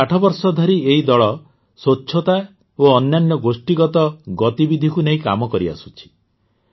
ଗତ ଆଠ ବର୍ଷ ଧରି ଏଇ ଦଳ ସ୍ୱଚ୍ଛତା ଓ ଅନ୍ୟାନ୍ୟ ଗୋଷ୍ଠୀଗତ ଗତିବିଧିକୁ ନେଇ କାମ କରିଆସୁଛି